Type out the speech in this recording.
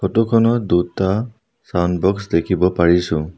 ফটোখনত দুটা sound box দেখিব পাৰিছোঁ।